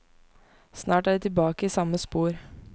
Snart er de tilbake i samme spor.